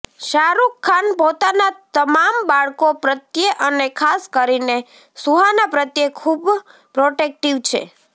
શાહરૂખ ખાન પોતાના તમામ બાળકો પ્રત્યે અને ખાસ કરીને સુહાના પ્રત્યે ખૂબ પ્રોટેક્ટિવ છે